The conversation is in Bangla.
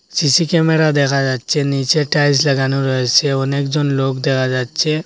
সি_সি ক্যামেরা দেখা যাচ্ছে নীচে টাইলস লাগানো রয়েছে অনেকজন লোক দেখা যাচ্ছে।